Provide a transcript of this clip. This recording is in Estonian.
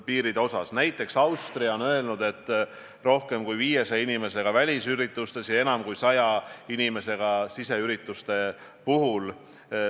Nii et vastus on: jah, see on tähtis ja see on tegelikult ka väga suur riskikoht, sest need inimesed on väga sageli eesliinil, puutuvad kokku väga paljudega, olgu see meditsiinisektor või mingi muu elutähtsa teenuse pakkumine.